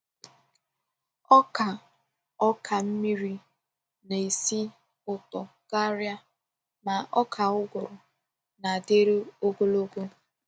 Ọka Ọka mmiri na-esi ụtọ karịa, ma ọka ụgụrụ na-adịru ogologo.